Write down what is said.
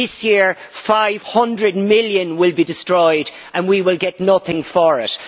This year EUR 500 million will be destroyed and we will get nothing for it.